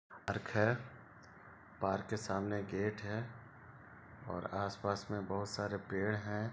Park है park के सामने गेट है और आसपास में बहुत सारे पेड़ है।